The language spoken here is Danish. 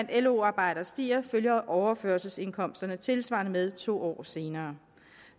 lo arbejdere stiger følger overførselsindkomsterne tilsvarende med to år senere